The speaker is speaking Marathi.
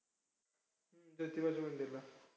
ज्योतिबाच्या मंदिरला.